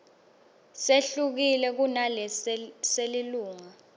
sehlukile kunalesi selilunga